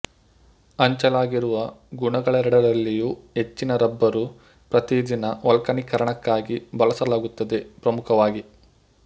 ಹಂಚಲಾಗಿರುವ ಗುಣಗಳೆರಡರಲ್ಲಿಯೂ ಹೆಚ್ಚಿನ ರಬ್ಬರು ಪ್ರತಿದಿನ ವಲ್ಕನೀಕರಣಕ್ಕಾಗಿ ಬಳಸಲಾಗುತ್ತದೆ ಪ್ರಮುಖವಾಗಿ